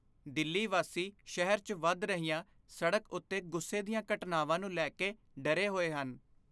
ਦਿੱਲੀ ਵਾਸੀ ਸ਼ਹਿਰ 'ਚ ਵਧ ਰਹੀਆਂ ਸੜਕ ਉੱਤੇ ਗੁੱਸੇ ਦੀਆਂ ਘਟਨਾਵਾਂ ਨੂੰ ਲੈ ਕੇ ਡਰੇ ਹੋਏ ਹਨ।